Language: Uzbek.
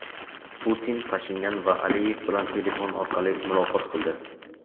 Putin Pashinyan va Aliyev bilan telefon orqali muloqot qildi.